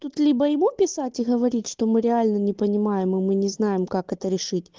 тут либо ему писать и говорить что мы реально не понимаем и мы не знаем как это решить